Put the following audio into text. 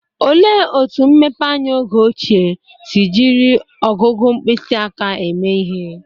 Olee otú mmepeanya oge ochie si jiri ọgụgụ mkpịsị aka eme ihe?